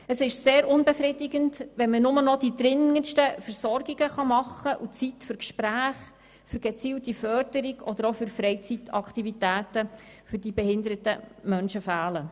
Es ist sehr unbefriedigend, wenn man nur noch die dringendsten Versorgungen gewährleisten kann und die Zeit für Gespräche, gezielte Förderung oder auch für Freizeitaktivitäten für die behinderten Menschen fehlt.